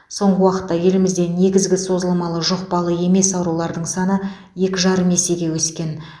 соңғы уақытта елімізде негізгі созылмалы жұқпалы емес аурулардың саны екі жарым есеге өскен